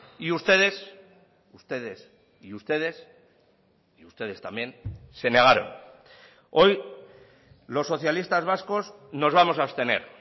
y ustedes ustedes y ustedes y ustedes también se negaron hoy los socialistas vascos nos vamos a abstener